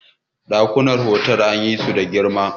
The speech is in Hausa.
dakunan otal din nan suna da girma